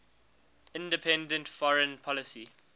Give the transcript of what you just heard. independent foreign policy